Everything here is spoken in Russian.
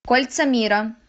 кольца мира